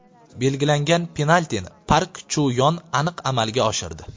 Belgilangan penaltini Park Chu Yon aniq amalga oshirdi.